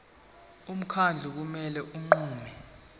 umkhandlu kumele unqume